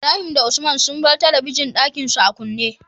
Ibrahim da usman sun bar talabijin din Ɗakinsu a kunne